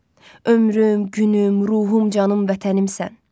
Ömrüm, günüm, ruhum, canım vətənimsən.